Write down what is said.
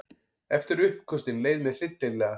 Eftir uppköstin leið mér hryllilega.